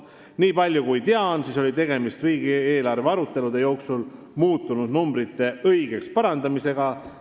" Nii palju kui tean, oli tegemist riigieelarve arutelude jooksul muutunud numbrite õigeks parandamisega.